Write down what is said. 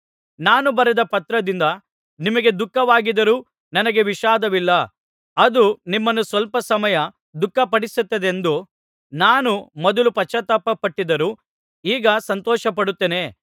ನಾನು ಬರೆದ ಪತ್ರದಿಂದ ನಿಮಗೆ ದುಃಖವಾಗಿದ್ದರೂ ನನಗೆ ವಿಷಾದವಿಲ್ಲ ಅದು ನಿಮ್ಮನ್ನು ಸ್ವಲ್ಪ ಸಮಯ ದುಃಖಪಡಿಸಿತೆಂದು ನಾನು ಮೊದಲು ಪಶ್ಚಾತ್ತಾಪ ಪಟ್ಟಿದ್ದರೂ ಈಗ ಸಂತೋಷಪಡುತ್ತೇನೆ